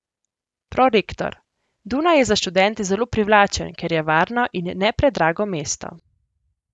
Prorektor: 'Dunaj je za študente zelo privlačen, ker je varno in ne predrago mesto.